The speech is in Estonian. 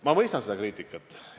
Ma mõistan seda kriitikat.